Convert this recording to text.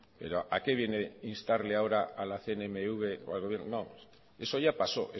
pero a qué viene instarle a la cnmv o al gobierno no eso ya pasó